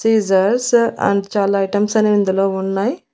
సీసెస్డ్స్ and చాలా items అన్ని ఇందులో ఉన్నాయ్.